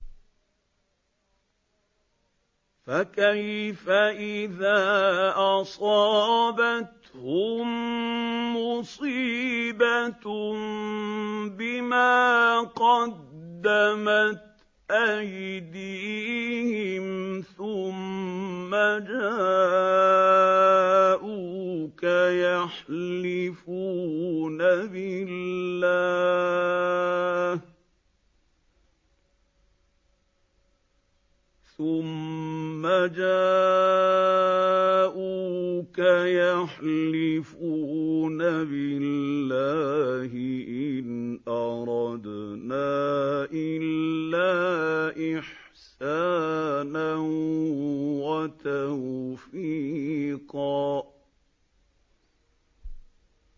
فَكَيْفَ إِذَا أَصَابَتْهُم مُّصِيبَةٌ بِمَا قَدَّمَتْ أَيْدِيهِمْ ثُمَّ جَاءُوكَ يَحْلِفُونَ بِاللَّهِ إِنْ أَرَدْنَا إِلَّا إِحْسَانًا وَتَوْفِيقًا